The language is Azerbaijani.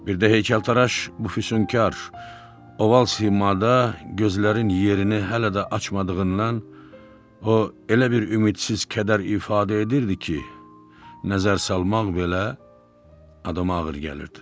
Birdə heykəltaraş bu füsunkar oval simada gözlərin yerini hələ də açmadığından, o elə bir ümidsiz kədər ifadə edirdi ki, nəzər salmaq belə adama ağır gəlirdi.